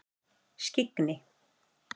Skyggni